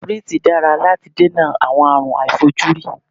Sípírítì dára láti dènà àwọn àárùn aàìfojúrí.